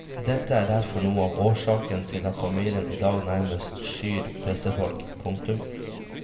Dette er derfor noe av årsaken til at familien i dag nærmest skyr pressefolk. punktum